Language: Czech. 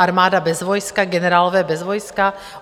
Armáda bez vojska, generálové bez vojska?